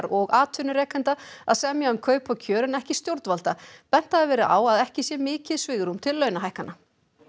og atvinnurekenda að semja um kaup og kjör en ekki stjórnvalda bent hafi verið á að ekki sé mikið svigrúm til launahækkana